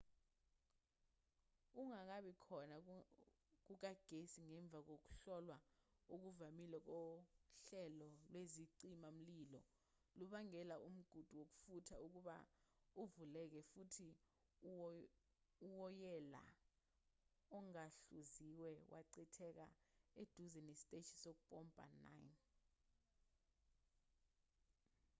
ukungabi khona kukagesi ngemva kokuhlolwa okuvamile kohlelo lwezicima-mlilo lubangele umgudu wokufutha ukuba uvuleke futhi uwoyela ongahluziwe wachitheka eduza nesiteshi sokumpompa 9